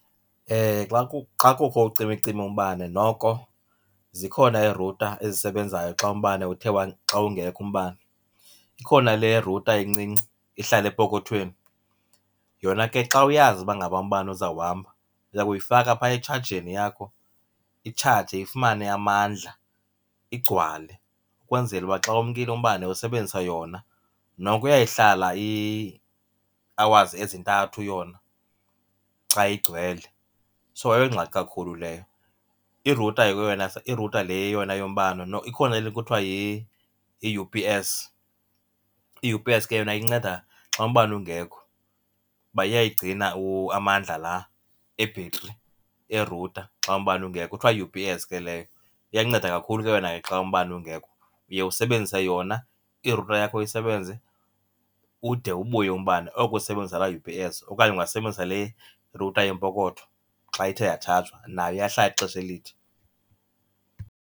Xa kukho ucimicimi wombane noko zikhona ii-router ezisebenzayo xa umbane uthe , xa ungekho umbane. Ikhona le router encinci ihlala epokothweni, yona ke xa uyazi uba ngaba umbane uzawuhamba uya kuyifaka pha etshajeni yakho itshaje ifumane amandla igcwale ukwenzela uba xa umkile umbane usebenzise yona. Noko iyayihlala ii-hours ezintathu yona xa igcwele so ayongxaki kakhulu leyo. I-router ke yona , i-router le yona yombane ikhona le kuthiwa yi-U_P_S, i-U_P_S ke yona inceda xa umbane ungekho kuba iyayigcina amandla la ebhetri e-router xa umbane ungekho, kuthiwa yi-U_P_S ke leyo. Iyanceda kakhulu ke yona xa umbane ungekho, uye usebenzise yona, i-router yakho isebenze ude ubuye umbane oko usebenzisa la U_P_S. Okanye ungasebenzisa le router yempokotho, xa ithe yatshajwa nayo iyahlala ixesha elide.